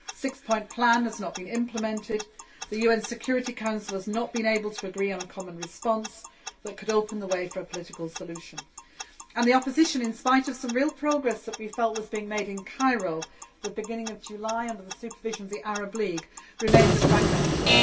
The six point plan has not been implemented, the UN Security Council has not been able to agree on a common response that could open the way for a political solution. And the opposition, in spite of some real progress which we felt was being made in Cairo at the beginning of July under the supervision of the Arab League, remains fragmented.